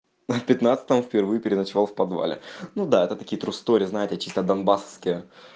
в пятнадцатом впервые переночевал в подвале ну да это такие тру стори знаете чисто донбассовские